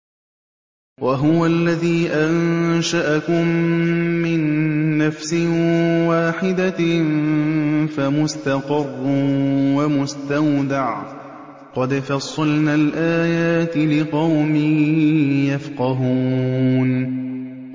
وَهُوَ الَّذِي أَنشَأَكُم مِّن نَّفْسٍ وَاحِدَةٍ فَمُسْتَقَرٌّ وَمُسْتَوْدَعٌ ۗ قَدْ فَصَّلْنَا الْآيَاتِ لِقَوْمٍ يَفْقَهُونَ